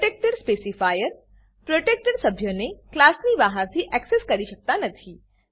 protected specifier protected સભ્યોને ક્લાસની બહારથી એક્સેસ કરી શકાતા નથી